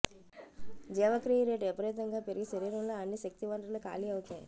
జీవక్రియ రేటు విపరీతంగా పెరిగి శరీరంలోని అన్ని శక్తి వనరులు ఖాళీ అవుతాయి